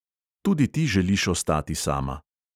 Tudi ti želiš ostati sama.